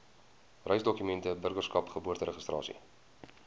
reisdokumente burgerskap geboorteregistrasie